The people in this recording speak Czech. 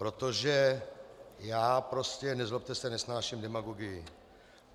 Protože já prostě, nezlobte se, nesnáším demagogii.